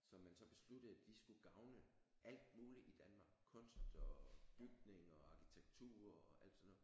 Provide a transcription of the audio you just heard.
Som man så besluttede de skulle gavne alt muligt i Danmark kunst og bygninger og arkitektur og alt sådan noget